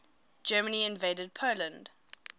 germany invaded poland